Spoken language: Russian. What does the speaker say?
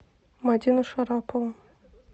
мадину шарапову